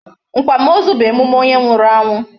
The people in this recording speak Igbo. Akwamozu bụ emume onye nwụrụ anwụ.